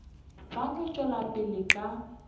ba no tšwela pele ka